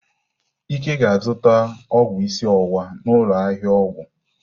Ike ga-azụta ọgwụ isi ọwụwa na ụlọ ahịa ọgwụ.